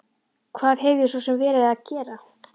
Hvað hef ég svo sem verið að gera?